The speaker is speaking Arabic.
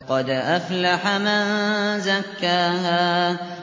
قَدْ أَفْلَحَ مَن زَكَّاهَا